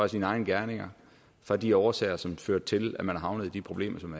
sine egne gerninger og de årsager som førte til at man havnede i de problemer som